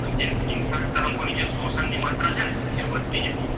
વધતી જાય